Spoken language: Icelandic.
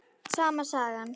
Sama sagan.